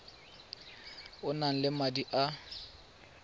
o nang le madi a